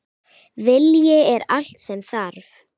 Vilji er allt sem þarf.